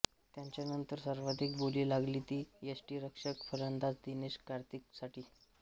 त्याच्यानंतर सर्वाधिक बोली लागली ती यष्टीरक्षक फलंदाज दिनेश कार्तिकसाठी